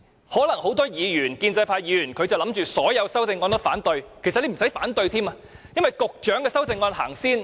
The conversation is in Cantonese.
很多建制派議員可能準備反對所有修正案，其實他們也不用反對，因為局長的修正案會先行付諸表決。